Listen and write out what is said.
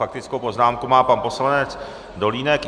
Faktickou poznámku má pan poslanec Dolínek.